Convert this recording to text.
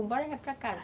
Um bora já para casa.